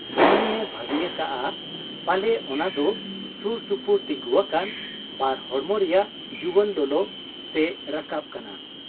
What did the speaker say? ᱰᱩᱢᱱᱤᱭᱮ ᱵᱷᱟᱹᱵᱤ ᱟᱠᱟᱜ ᱟ ᱯᱟᱞᱮ ᱚᱱᱟ ᱫᱚ ᱥᱩᱨ ᱥᱩᱯᱩᱨ ᱛᱤᱸᱜᱩ ᱟᱠᱟᱱ ᱵᱟᱨ ᱦᱚᱲᱢᱚ ᱨᱮᱭᱟᱜ ᱡᱩᱣᱟᱹᱱ ᱞᱚᱞᱚ ᱥᱮ ᱨᱟᱠᱟᱵ ᱠᱟᱱᱟ ᱾